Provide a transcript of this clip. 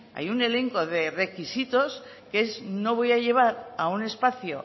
hay un elenco de requisitos que es no voy a llevar a un espacio